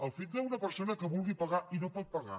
el fet d’una persona que vulgui pagar i no pot pagar